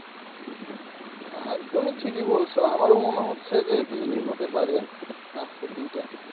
আহ তুমি ঠিকই বলছ আমারও মনে হচ্ছে যে বৃষ্টি হতে পারে আজকের দিনটা।